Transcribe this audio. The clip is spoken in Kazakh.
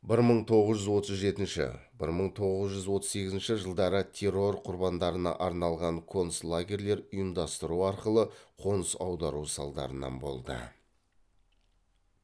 бір мың тоғыз жүз отыз жетінші бір мың тоғыз жүз отыз сегізінші жылдары террор құрбандарына арналған концлагерлер ұйымдастыру арқылы қоныс аудару салдарынан болды